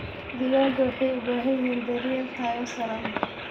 Digaagga waxay u baahan yihiin daryeel tayo sare leh.